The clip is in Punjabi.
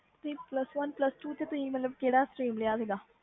plus one plus two ਵਿਚ ਕਿਹੜਾ stream ਲਿਆ ਸੀ